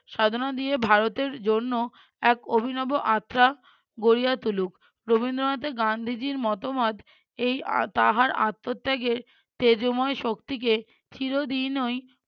সাধনা দিয়ে ভারতের জন্য এক অভিনব আত্রা গড়িয়া তুলুক। রবীন্দ্রনাথের গান্ধীজির মতামত এই আহা~ তাহার আত্মত্যাগের তেজোময় শক্তিকে চিরোদিনই